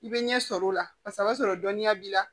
I bɛ ɲɛ sɔrɔ o la paseke o b'a sɔrɔ dɔnniya b'i la